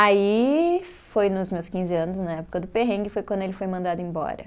Aí, foi nos meus quinze anos, na época do perrengue, foi quando ele foi mandado embora.